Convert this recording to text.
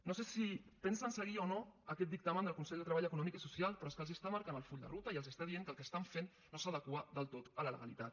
no sé si pensen seguir o no aquest dictamen del consell de treball econòmic i social però és que els està marcant el full de ruta i els està dient que el que estan fent no s’adequa del tot a la legalitat